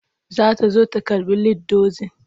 Za ta zo ta karɓi lead dozin.